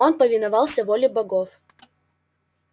он повиновался воле богов